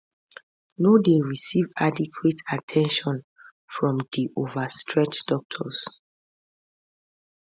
no dey receive adequate at ten tion from di overstretched doctors